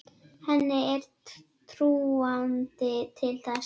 Henni er trúandi til þess.